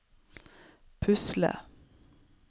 pusle